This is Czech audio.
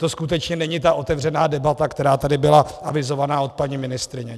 To skutečně není ta otevřená debata, která tady byla avizována od paní ministryně.